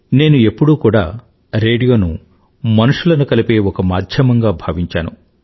నేను ఎప్పుడూ కూడా రేడియోను మనుషులను కలిపే ఒక మాధ్యమంగా భావించాను